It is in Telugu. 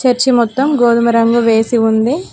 చర్చి మొత్తం గోధుమ రంగు వేసి ఉంది.